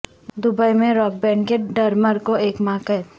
Dubai میں rock band کے drummer کو ایک ماہ قید